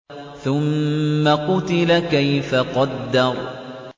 ثُمَّ قُتِلَ كَيْفَ قَدَّرَ